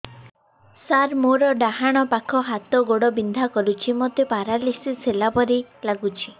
ସାର ମୋର ଡାହାଣ ପାଖ ହାତ ଗୋଡ଼ ବିନ୍ଧା କରୁଛି ମୋତେ ପେରାଲିଶିଶ ହେଲା ଭଳି ଲାଗୁଛି